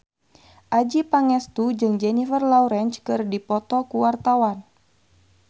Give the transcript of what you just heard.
Adjie Pangestu jeung Jennifer Lawrence keur dipoto ku wartawan